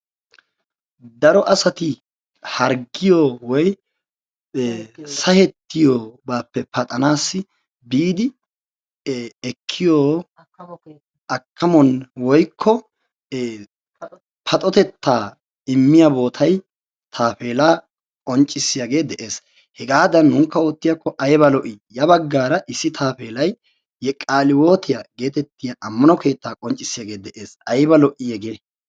daro asati harggiyo woyko sakettiyobaape paxanaassi biidi ekkiyoo akkamuwan woyikko paxoxetta immiyaa bootay tapeella qonccisiyaagee de'ess. Hegaadan nunkka oottiyaakko ayiba lo'ii? ya baggaara issi taapeellay qaalihiwootiyaa geetettiyaa amano keetta qonccissiyaagee de'es. Ayiba lo'ii hegee!